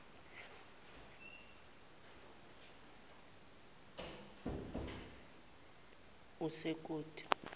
esukoti